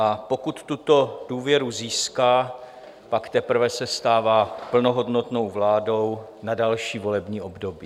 A pokud tuto důvěru získá, pak teprve se stává plnohodnotnou vládou na další volební období.